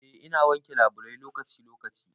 Eh ina wanke labulai lokaci lokaci.